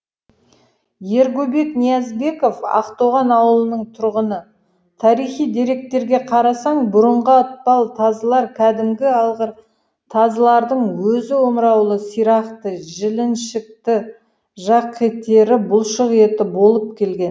ергөбек ниязбеков ақтоған ауылының тұрғыны тарихи деректерге қарасаң бұрынғы атпал тазылар кәдімгі алғыр тазылардың өзі омыраулы сирақты жіліншікті жақеттері бұлшықетті болып келген